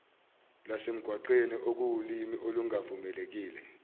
lwasemgwaqeni okuwulimi olungavumelekile